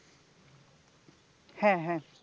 হ্যাঁ